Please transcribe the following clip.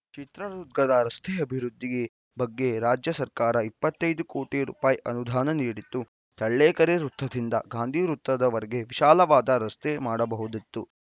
ಚಿತ್ರದುರ್ಗದ ರಸ್ತೆ ಅಭಿವೃದ್ಧಿ ಬಗ್ಗೆ ರಾಜ್ಯ ಸರ್ಕಾರ ಇಪ್ಪತ್ತ್ ಐದು ಕೋಟಿ ರುಪಾಯಿ ಅನುದಾನ ನೀಡಿತ್ತು ಚಳ್ಳಕೆರೆ ವೃತ್ತದಿಂದ ಗಾಂಧಿ ವೃತ್ತದವರಿಗೆ ವಿಶಾಲವಾದ ರಸ್ತೆ ಮಾಡಬಹುದಿತ್ತು